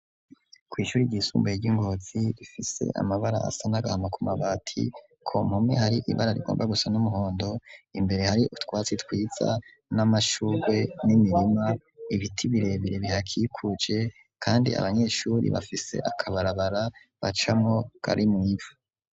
kw'ishure ryisumbuye ry'ingotzi rifise amabara asanagahama ku mabati ko mumwe hari ibara rigomba gusa n'umuhondo imbere hari utwatsi twitsa n'amashurwe n'imirima ibiti birebere bihakikuce kandi abanyeshuri bafise akabarabara bacamo karimwo.